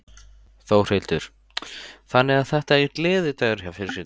Þórhildur: Þannig að þetta er gleðidagur hjá fjölskyldunni?